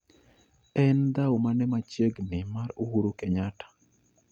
En dhau mane machiegni mar uhuru kenyatta